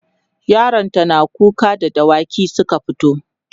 yaron ta nata kuka da dawaki Suka fito